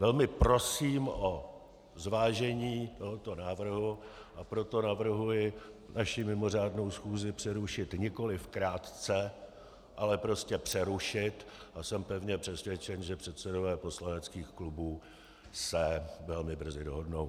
Velmi prosím o zvážení tohoto návrhu, a proto navrhuji naši mimořádnou schůzi přerušit nikoliv krátce, ale prostě přerušit, a jsem pevně přesvědčen, že předsedové poslaneckých klubů se velmi brzy dohodnou.